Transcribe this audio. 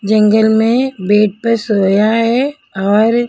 जंगल में बेड पे सोया है और--